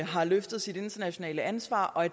har løftet sit internationale ansvar og at